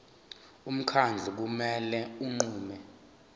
umkhandlu kumele unqume